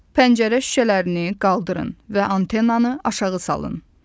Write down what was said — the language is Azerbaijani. Pəncərə şüşələrini qaldırın və antennanı aşağı salın.